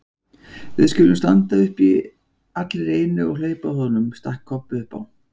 Við skulum standa upp allir í einu og hlaupa að honum, stakk Kobbi upp á.